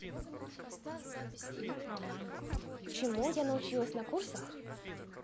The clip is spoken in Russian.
чему вы научились на курсах чему я научилась на курсах